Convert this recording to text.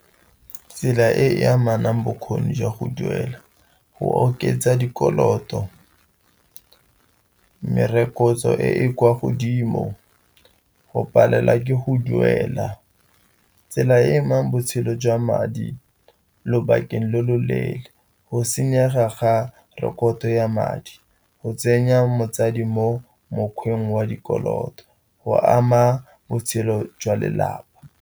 Tsela e e amanang bokgoni jwa go duela, go oketsa dikoloto, merokotso e kwa godimo, go palelwa ke go duela, tsela e emang botshelo jwa madi lobakeng lo lo leele, go senyega ga rekoto ya madi, go tsenya motsadi mo mokgweng wa dikoloto, go ama botshelo jwa lelapa.